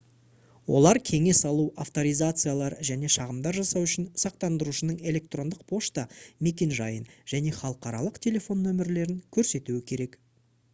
олар кеңес алу/авторизациялар және шағымдар жасау үшін сақтандырушының электрондық пошта мекенжайын және халықаралық телефон нөмірлерін көрсетуі керек